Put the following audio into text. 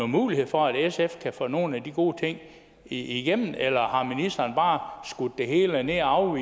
muligheder for at sf kan få nogle af de gode ting igennem eller om ministeren bare har skudt det hele ned og